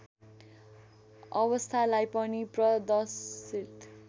अवस्थालाई पनि प्रदर्शित